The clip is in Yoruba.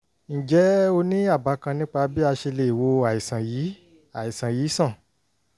ǹjẹ́ o ní àbá kan nípa bí a ṣe lè wo àìsàn yìí àìsàn yìí sàn?